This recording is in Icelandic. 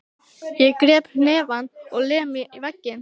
Ég kreppi hnefann og lem í vegginn.